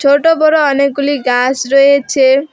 ছোট বড় অনেকগুলি গাস রয়েছে।